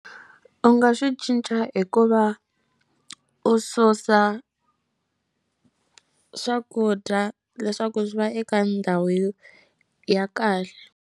U nga swi cinca hi ku va u susa swakudya leswaku swi va eka ndhawu yo ya kahle.